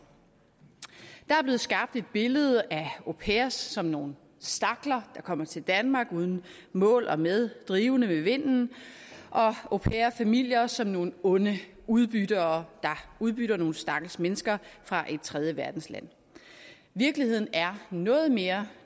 der er blevet skabt et billede af au pairer som nogle stakler der kommer til danmark uden mål og med drivende med vinden og au pair familier som nogle onde udbyttere der udbytter nogle stakkels mennesker fra et tredjeverdensland virkeligheden er noget mere